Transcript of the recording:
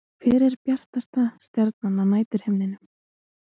Hver er bjartasta stjarnan á næturhimninum?